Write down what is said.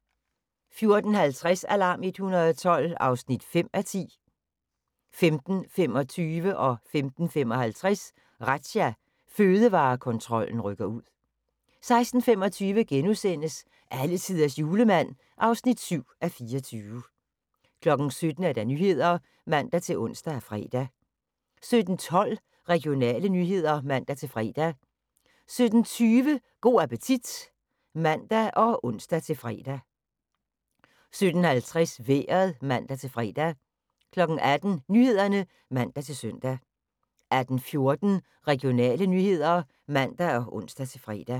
14:50: Alarm 112 (5:10) 15:25: Razzia – Fødevarekontrollen rykker ud 15:55: Razzia – Fødevarekontrollen rykker ud 16:25: Alletiders Julemand (7:24)* 17:00: Nyhederne (man-ons og fre) 17:12: Regionale nyheder (man-fre) 17:20: Go' appetit (man og ons-fre) 17:50: Vejret (man-fre) 18:00: Nyhederne (man-søn) 18:14: Regionale nyheder (man og ons-fre)